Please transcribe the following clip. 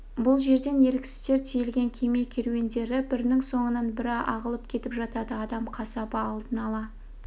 бұл жерден еріксіздер тиелген кеме керуендері бірінің соңынан бірі ағылып кетіп жатады адам қасабы алдын ала